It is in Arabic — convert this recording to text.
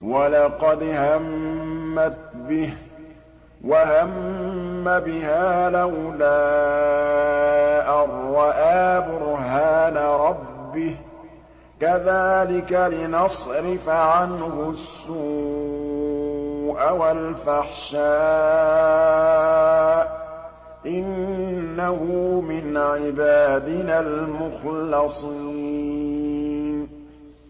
وَلَقَدْ هَمَّتْ بِهِ ۖ وَهَمَّ بِهَا لَوْلَا أَن رَّأَىٰ بُرْهَانَ رَبِّهِ ۚ كَذَٰلِكَ لِنَصْرِفَ عَنْهُ السُّوءَ وَالْفَحْشَاءَ ۚ إِنَّهُ مِنْ عِبَادِنَا الْمُخْلَصِينَ